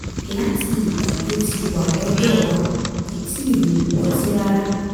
láti ìgbà tó ti wà lọ́dọ̀ wa kò tíì mu ọtí rárá